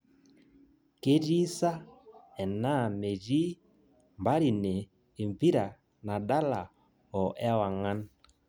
Ketii saa enaa metii mparine empira nadala o ewang'an